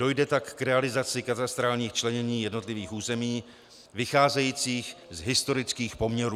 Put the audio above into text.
Dojde tak k realizaci katastrálních členění jednotlivých území vycházejících z historických poměrů.